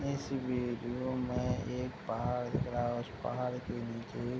इस वीडियो में एक पहाड़ दिख रहा है उस पहाड़ के निचे --